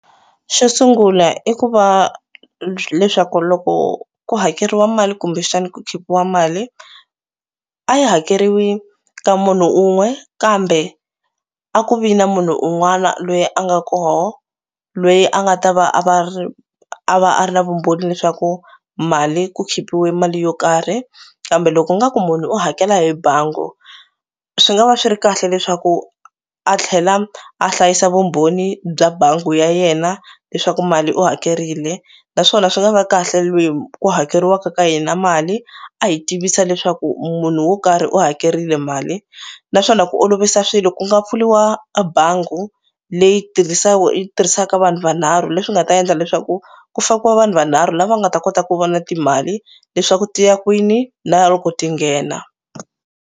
Xo sungula i ku va leswaku loko ku hakeriwa mali kumbexani ku khipiwa mali a yi hakeriwi ka munhu un'we kambe a ku vi na munhu un'wana lweyi a nga koho lweyi a nga ta va a va ri a va a ri na vumbhoni leswaku mali ku khipile mali yo karhi kambe loko u nga ku munhu u hakela hi bangi swi nga va swi ri kahle leswaku a tlhela a hlayisa vumbhoni bya bangi ya yena leswaku mali u hakerile naswona swi nga va kahle lweyi ku hakeriwaka ka yena na mali a hi tivisa leswaku munhu wo karhi u hakerile mali naswona ku olovisa swilo ku nga pfuliwa a bangi leyi yi tirhisaka vanhu vanharhu leswi nga ta endla leswaku ku fakiwa vanhu vanharhu lava nga ta kota ku vona timali leswaku ti ya kwini na loko ti nghena.